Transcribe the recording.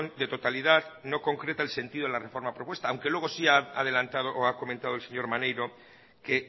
de totalidad no concreta el sentido en la reforma propuesta aunque luego si ha adelantado o ha comentado el señor maneiro que